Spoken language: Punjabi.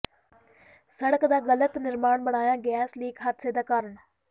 ਸੜਕ ਦਾ ਗ਼ਲਤ ਨਿਰਮਾਣ ਬਣਿਆ ਗੈਸ ਲੀਕ ਹਾਦਸੇ ਦਾ ਕਾਰਨ